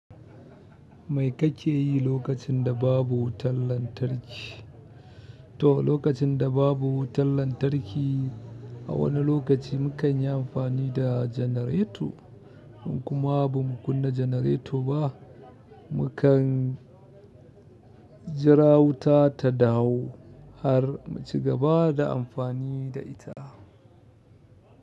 Me kake yi lokacin da babu wutan lantarki? To, lokacin da babu wutan lantarki a wani lokaci mukan yi amfani da janareto in kuma ba mu kunna janareto ba, mu kan jira wuta ta dawo har mu cigaba da amfani da ita.